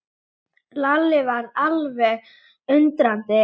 Að ráðast til atlögu við þungvopnuð herskipin var því bæði peningasóun og fífldirfska.